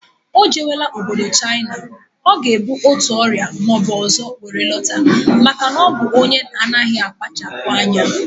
O jebela obodo Chaịna, ọ ga ebu otu ọrịa maọbụ ọzọ were lọta maka na ọ bụ onye na anaghị akpachapughị anya